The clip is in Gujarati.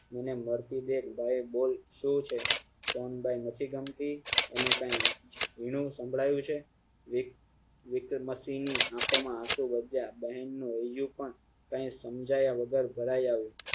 મને મારતી દેખ ભાઈ બોલ શું છે સોનબાઇ નથી ગમતી એને કઈ વીનુ સંભળાવું છે વી~વિકતાન માસી ની આખો માં આશુ વધ્યા બહેન નું હૈયું નં કઈ સમજાય વગર ભરાય આવ્યું